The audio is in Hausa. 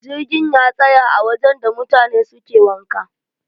jirgin ya tsaya a wajen da mutane suke wanka